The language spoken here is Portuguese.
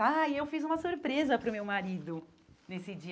Ah, eu fiz uma surpresa para o meu marido nesse dia.